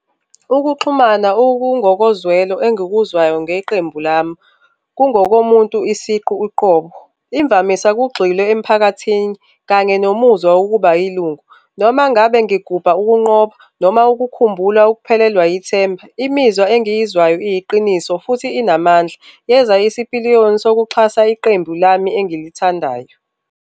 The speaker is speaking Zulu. Ukuxhumana okungokozwelo engikuzwayo ngeqembu lami kungokomuntu isiqu uqobo. Imvamisa kugxile emphakathini kanye nomuzwa wokuba yilungu. Noma ngabe ngigubha ukunqoba noma ukukhumbula ukuphelelwa yithemba, imizwa engiyizwayo iyiqiniso futhi inamandla yenza isipiliyoni sokuxhasa iqembu lami engilithandayo.